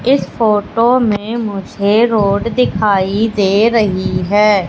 इस फोटो में मुझे रोड दिखाई दे रही है।